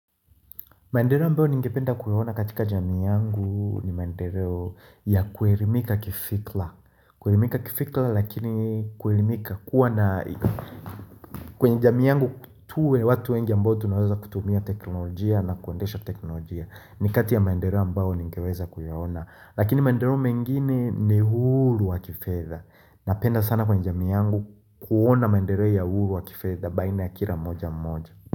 Maendeleo ambayo ningependa kuyaona katika jamii yangu ni maendeleo ya kuelimika kifikra kuelimika kifikra lakini kwelimika kuwa na kwenye jami yangu tuwe watu wengi ambao tunawaleza kutumia teknolojia na kuendesha teknolojia Nikati ya maendeleo ambayo ningeweza kuyaona Lakini maendeleo mengine ni uhuru wa kifedha Napenda sana kwenye jamii yangu kuona maendeleo ya uhuru wa kifedha baina ya kila moja moja.